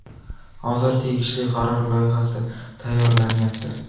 Hozir tegishli qaror loyihasi tayyorlanayapti.